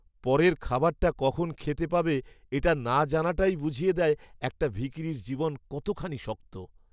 পরের খাবারটা কখন খেতে পাবে এটা না জানাটাই বুঝিয়ে দেয় একটা ভিখিরির জীবন কতখানি শক্ত!